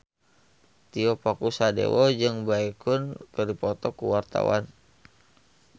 Tio Pakusadewo jeung Baekhyun keur dipoto ku wartawan